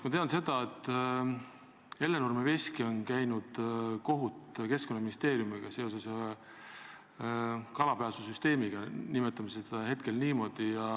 Ma tean, et Hellenurme veski on käinud kohut Keskkonnaministeeriumiga seoses ühe kalapääsusüsteemiga, nimetame seda hetkel niimoodi.